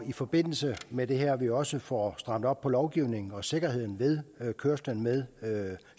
i forbindelse med det her er vi også får strammet op på lovgivningen og sikkerheden ved kørsel med